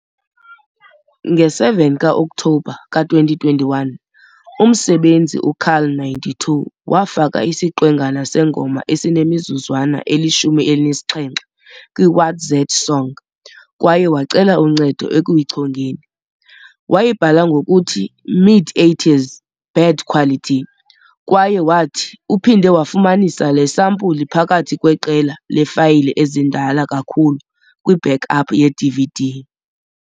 Nge-7 ka-Okthobha ka-2021, umsebenzisi u-carl92 wafaka isiqwengana sengoma esinemizuzwana eli-17 kwi-WatZatSong kwaye wacela uncedo ekuyichongeni. Wayibhala ngokuthi "Mid 80s, bad quality" kwaye wathi "uphinde wafumanisa le sampuli phakathi kweqela leefayile ezindala kakhulu kwi-backup yeDVD.